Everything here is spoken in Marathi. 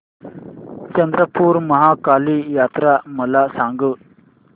चंद्रपूर महाकाली जत्रा मला सांग